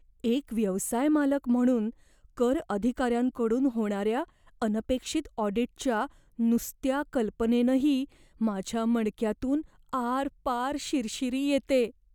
एक व्यवसाय मालक म्हणून, कर अधिकाऱ्यांकडून होणाऱ्या अनपेक्षित ऑडीटच्या नुसत्या कल्पनेनंही माझ्या मणक्यातून आरपार शिरशिरी येते.